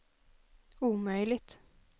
omöjligt